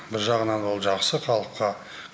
бір жағынан ол жақсы халыққа